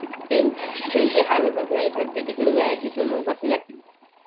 सध्या हलतच नाही त्यांची तिकडं जायची मग कस जातील